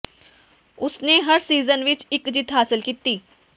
ਉਸ ਨੇ ਹਰ ਸੀਜ਼ਨ ਵਿੱਚ ਇੱਕ ਜਿੱਤ ਹਾਸਲ ਕੀਤੀ